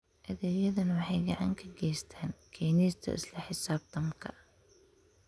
Adeegyadani waxay gacan ka geystaan ??keenista isla xisaabtanka.